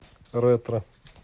ретро